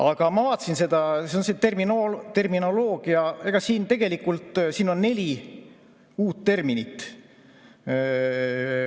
Aga ma vaatasin, et siin tegelikult on neli uut terminit.